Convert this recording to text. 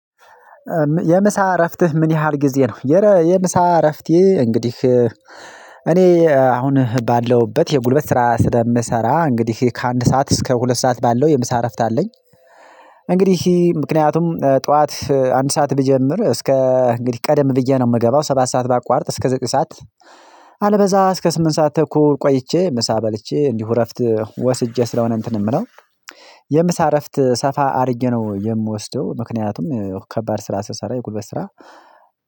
የምሳ እረፍትህ ምን ያህል ጊዜ ነው? የረ የምሳ እረፍቴ እንግዲህ እኔ አሁን ባለሁበት የጉልበት ስራ ስለምሰራ እንግዲህ ከአንድ ሰዓት እስከ ሁለት ሰዓት ባለው የምሳ እረፍት አለኝ። እንግዲህ ምክንያቱም ጠዋት አንድ ሰዓት ብጀምር እስከ እንግዲህ ቀደም ብዬ ነው የምገባው ሰባት ሰዓት ባቋርጥ እስከ ዘጠኝ ሰዓት ካልበዛ እስከ ስምንት ሰዓት ተኩል ቆይቼ ምሳ በልቼ እንዲሁ እረፍት ወስጄ ስለሆነ እንትን የምለው የምሳ እረፍት ሰፋ አድርጌ ነው የምወስደው። ምክንያቱም ከባድ ስራ ስሰራ የጉልበት ስራ